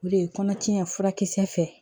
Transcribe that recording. O de ye kɔnɔtiɲɛ furakisɛ fɛ